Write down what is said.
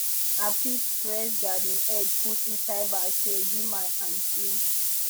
i pick fresh garden eggs put inside basket give my aunty